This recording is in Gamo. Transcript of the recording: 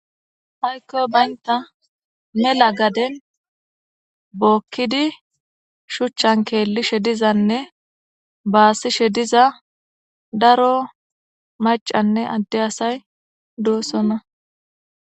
Ayikoy bayina mela gaden hokidi shucan kelishe dizane basishe diza daro macane adde asay dosona.